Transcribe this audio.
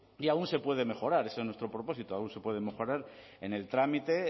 y aún se puede mejorar ese es nuestro propósito aún se puede mejorar en el trámite